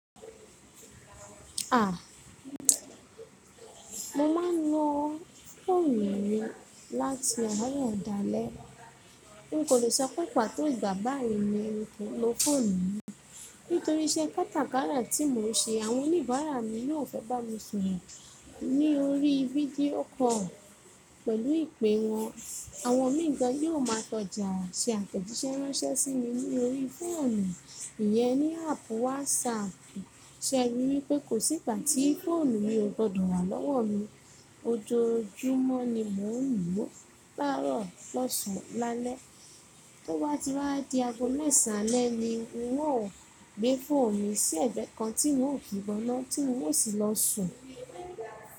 Ah! Mo ma ń ló fóònù mi láti àárọ̀ dálẹ̀. Mi kò lè sọ pé pàtó ìgbà bá yìí ni mo ń lo fóònù mí. Nítorí iṣẹ́ katakárà tí mo ń ṣe, àwọn oníbàárà mi yóò fẹ́ bá mi sọ̀rọ̀ ní orí fídíó call pẹ̀lú ìpé wọn. Àwọn míì gan yi óò máa tọ́jà ṣe àtẹ̀jíṣẹ́ ránṣẹ́ sí mi ní orí fóònù, ìyẹ́n ní áàpù whàsáàpù. Ṣe rí wipé kò sí ìgbà tí fóònù mí ò gbọdọ̀ wà lọ́wọ́ mi. Ojoojúmọ́ ni mo ń lò ó, lárọ̀ lọ́sàn lálẹ́. Ó wá ti wá di ago mẹ́san alẹ̀ ni nwi ó gbé fóònù sí ẹ̀gbẹ́ kan tí n ò kíbọ́ná tí n ò sì lọ sùn.